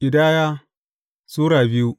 Ƙidaya Sura biyu